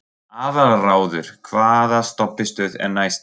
Aðalráður, hvaða stoppistöð er næst mér?